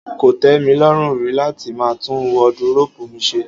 Kò tẹ́ mi lọ́rùn rí láti máa tún wọdiróòbù mi ṣe.